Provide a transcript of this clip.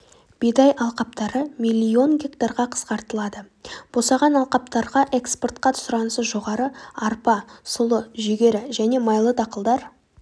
бидай алқаптары миллион гектарға қысқартылады босаған алқаптарға экспортқа сұранысы жоғары арпа сұлы жүгері және майлы дақылдар